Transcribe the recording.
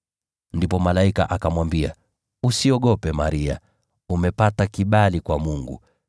Ndipo malaika akamwambia, “Usiogope, Maria, umepata kibali kwa Mungu.